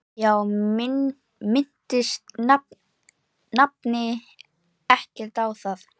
Já, minntist nafni ekkert á það?